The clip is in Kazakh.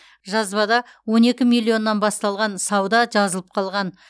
жазбада он екі миллионнан басталған сауда жазылып қалған